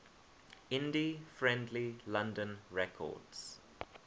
indie friendly london records